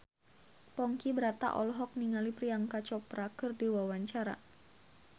Ponky Brata olohok ningali Priyanka Chopra keur diwawancara